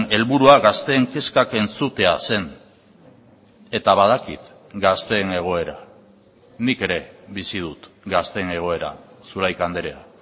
helburua gazteen kezkak entzutea zen eta badakit gazteen egoera nik ere bizi dut gazteen egoera zulaika andrea